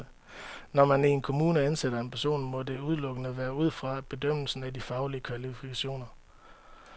Når man i en kommune ansætter en person, må det udelukkende være ud fra en bedømmelse af de faglige kvalifikationer.